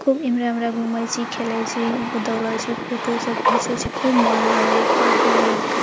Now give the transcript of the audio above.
खूब इम्हरा-उम्हरा घूमे छी खेले छी दौड़े छी फोटो सब घिंचे छै खूब मन लागे या पार्क में रेव के।